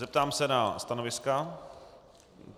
Zeptám se na stanoviska.